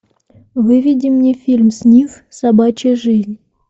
выведи мне фильм снифф собачья жизнь